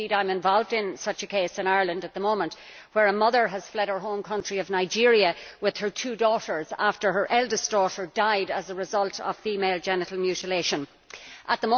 I am involved in such a case in Ireland at the moment, where a mother has fled her home country of Nigeria with her two daughters after her eldest daughter died as a result of female genital mutilation At